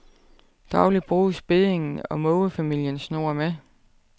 Dagligt bruges beddingen, og mågefamilien snurrer med.